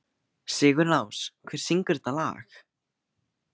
Sigurlás, hver syngur þetta lag?